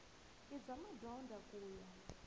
i bya madyondza ku ya